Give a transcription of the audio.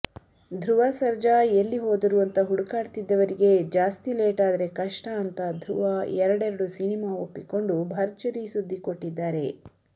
ಧ್ರುವ ಸರ್ಜಾ ಎಲ್ಲಿಹೋದರು ಅಂತ ಹುಡುಕಾಡ್ತಿದ್ದವರಿಗೆ ಜಾಸ್ತಿ ಲೇಟಾದ್ರೆ ಕಷ್ಟ ಅಂತ ಧ್ರುವ ಎರಡೆರೆಡು ಸಿನಿಮಾ ಒಪ್ಪಿಕೊಂಡು ಭರ್ಜರಿ ಸುದ್ದಿಕೊಟ್ಟಿದ್ದಾರೆ